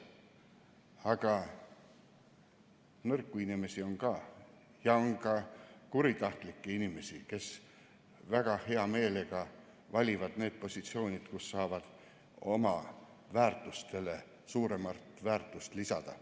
Aga nõrku inimesi on ka ja on ka kuritahtlikke inimesi, kes väga hea meelega valivad need positsioonid, kus nad saavad oma väärtustele suuremat väärtust lisada.